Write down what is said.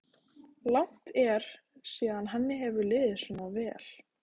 Langt er síðan henni hefur liðið svona vel.